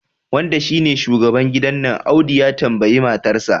wanda shine shugaban gidan nan Audu ya tambayi matarsa